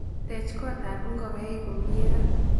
Teech kot ab nkokaiik komyee ra